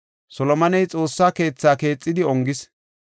Solomoney Xoossa keetha keexidi ongis.